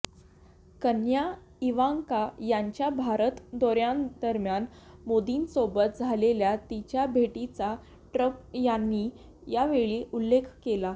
कन्या इवांका यांच्या भारत दौऱयादरम्यान मोदींसोबत झालेल्या तिच्या भेटीचा ट्रप यांनी यावेळी उल्लेख केला